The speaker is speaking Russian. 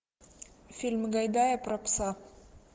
фильм гайдая про пса